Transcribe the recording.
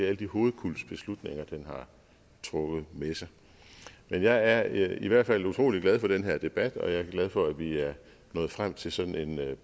alle de hovedkulds beslutninger den har trukket med sig men jeg er i hvert fald utrolig glad for den her debat og jeg er glad for at vi er nået frem til sådan en